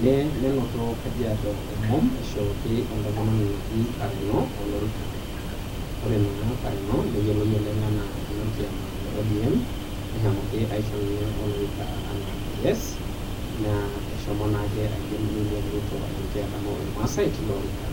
neinoto kajiado, omom eishooki entomononi naji Pareno olorika. kore naa Pareno neiyoloi naa oleng' ajo enolkioma le ODM, neshomoki aishoo naa ninye olorika anaa ps naa eshoma naa William Ruto ademu ilmaasai teilo orika